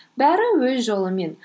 бәрі өз жолымен